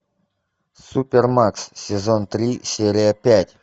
супермакс сезон три серия пять